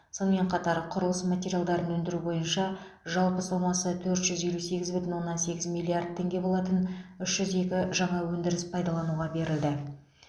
сонымен қатар құрылыс материалдарын өндіру бойынша жалпы сомасы төрт жүз елу сегіз бүтін оннан сегіз миллиард теңге болатын үш жүз екі жаңа өндіріс пайдалануға берілді